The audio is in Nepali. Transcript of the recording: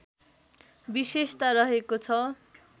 विशेषता रहेको छ